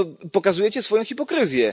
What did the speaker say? Pokazujecie swoją hipokryzję.